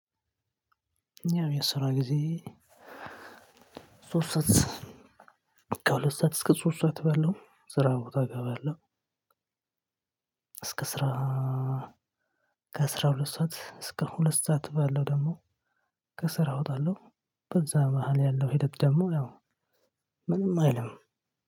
ያው የስራ ጊዜ ሶስት ሰዓት ከሁለት ሰዓት እስከ ሶስት ሰዓት ባለው ስራ ቦታ እገባለው። እስከ አስራ አስራሁለት ሰዓት እስከ ሁለት ሰዓት ባለው ደግሞ ከስራ እወጣለው። ከዛ በኋላ ያለው ሂደት ደግሞ ያው ምንም አይልም።